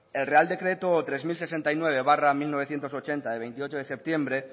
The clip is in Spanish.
el real decreto tres mil sesenta y nueve barra mil novecientos ochenta de veintiocho de septiembre